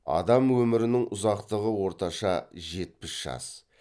адам өмірінің ұзақтығы орташа жетпіс жас